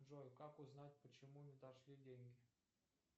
джой как узнать почему не дошли деньги